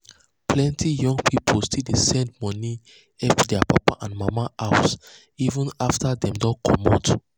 plenty young pipo still dey send money help their papa and mama house even after dem don comot.